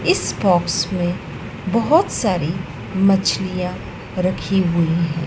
इस बॉक्स में बहुत सारी मछलियां रखी हुई हैं।